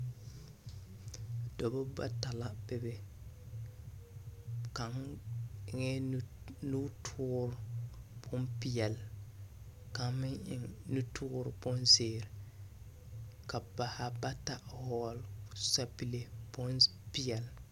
Dͻbͻ bata la bebe, kaŋa eŋԑԑ nu nutoore bompeԑle, kaŋ meŋ eŋ nutoore bonzeere. Ka ba zaa ba ta vͻgele sapigi bompeԑle.